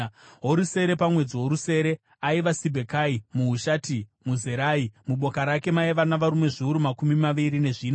Worusere, pamwedzi worusere, aiva Sibhekai muHushati muZerahi. Muboka rake maiva navarume zviuru makumi maviri nezvina.